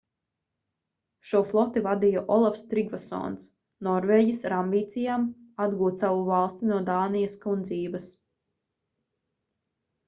šo floti vadīja olafs trigvasons norvēģis ar ambīcijām atgūt savu valsti no dānijas kundzības